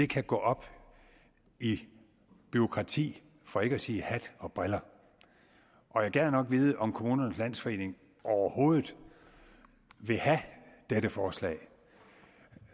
kan gå op i bureaukrati for ikke at sige hat og briller og jeg gad nok vide om kommunernes landsforening overhovedet vil have dette forslag